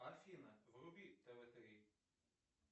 афина вруби тв три